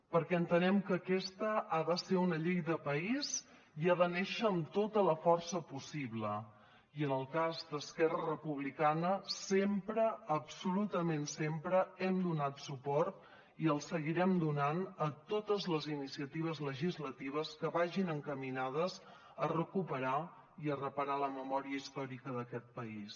perquè entenem que aquesta ha de ser una llei de país i ha de néixer amb tota la força possible i en el cas d’esquerra republicana sempre absolutament sempre hem donat suport i el seguirem donant a totes les iniciatives legislatives que vagin encaminades a recuperar i a reparar la memòria històrica d’aquest país